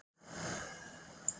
Ynja, hvaða vikudagur er í dag?